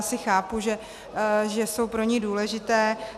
Asi chápu, že jsou pro ni důležité.